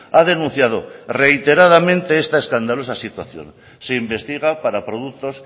ha denunciado reiteradamente esta escandalosa situación se investiga para productos